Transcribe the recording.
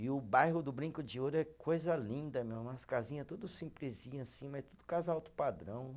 E o bairro do Brinco de Ouro é coisa linda, meu, umas casinha tudo simplesinha assim, mas tudo casa alto padrão.